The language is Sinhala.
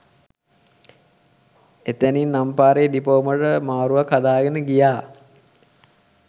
එතැනින් අම්පාරේ ඩිපෝවට මාරුවක් හදාගෙන ගියා